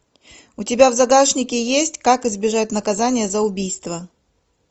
у тебя в загашнике есть как избежать наказания за убийство